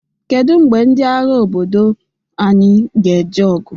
Kedu mgbe ndị agha obodo anyị ga-eje ọgụ?